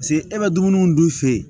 Paseke e bɛ dumuni dun fɛ yen